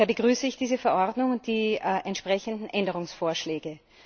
Daher begrüße ich diese Verordnung und die entsprechenden Änderungsvorschläge.